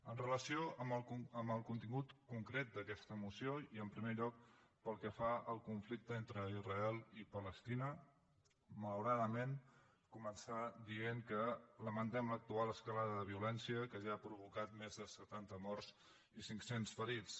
amb relació al contingut concret d’aquesta moció i en primer lloc pel que fa al conflicte entre israel i palestina malauradament començar dient que lamentem l’actual escalada de violència que ja ha provocat més de setanta morts i cinc cents ferits